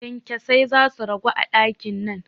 Kyankyasai zasu ragu a ɗakin nan